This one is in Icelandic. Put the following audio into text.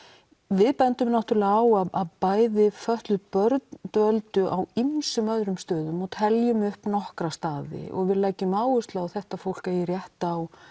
við bendum náttúrulega á að bæði fötluð börn dvöldu á ýmsum öðrum stöðum og teljum upp nokkra staði og við leggjum áherslu á að þetta fólk eigi rétt á